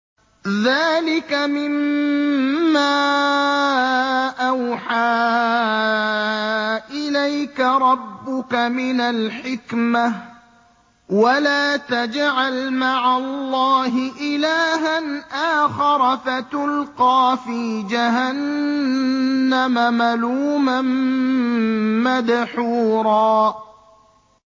ذَٰلِكَ مِمَّا أَوْحَىٰ إِلَيْكَ رَبُّكَ مِنَ الْحِكْمَةِ ۗ وَلَا تَجْعَلْ مَعَ اللَّهِ إِلَٰهًا آخَرَ فَتُلْقَىٰ فِي جَهَنَّمَ مَلُومًا مَّدْحُورًا